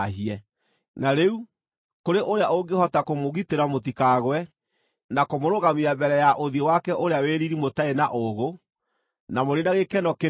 Na rĩu, kũrĩ ũrĩa ũngĩhota kũmũgitĩra mũtikagwe, na kũmũrũgamia mbere ya ũthiũ wake ũrĩa wĩ riiri mũtarĩ na ũũgũ, na mũrĩ na gĩkeno kĩnene: